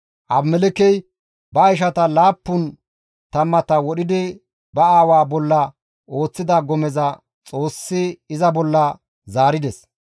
Abimelekkey ba ishata laappun tammata wodhidi ba aawa bolla ooththida gomeza Xoossi iza bolla zaarides.